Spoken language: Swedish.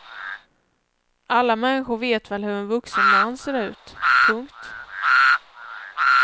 Alla människor vet väl hur en vuxen man ser ut. punkt